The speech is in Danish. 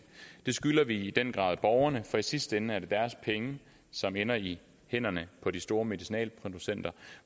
det skylder vi i den grad borgerne for i sidste ende er det deres penge som ender i hænderne på de store medicinalproducenter